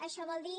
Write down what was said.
això vol dir